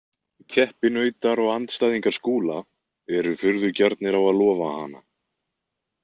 Keppinautar og andstæðingar Skúla eru furðu gjarnir á að lofa hana.